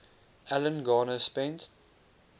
alan garner spent